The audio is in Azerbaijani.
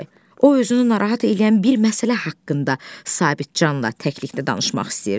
O özünü narahat eləyən bir məsələ haqqında Sabitcanla təklikdə danışmaq istəyirdi.